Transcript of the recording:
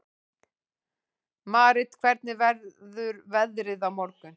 Marit, hvernig verður veðrið á morgun?